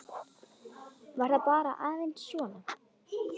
Var það bara aðeins svona?